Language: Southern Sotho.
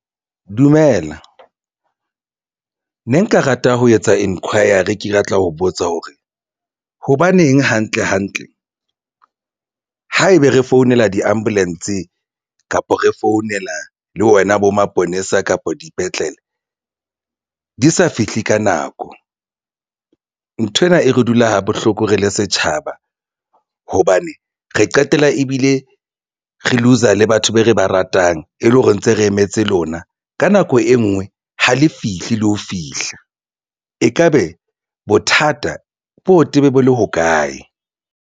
Dumela ne nka rata ho etsa enquiry ke rata ho botsa hore hobaneng hantle hantle haebe re founela di-ambulance kapa re founela le wona bo maponesa kapa dipetlele di sa fihle ka nako. Nthwena e re dula ha bohloko re le setjhaba hobane re qetella ebile re looser le batho be re ba ratang e le hore ntse re emetse lona ka nako e nngwe ha le fihle le ho fihla. Ekabe bothata bo tebe bo le hokae?